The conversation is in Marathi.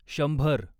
शंभर